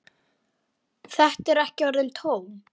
Þetta eru ekki orðin tóm.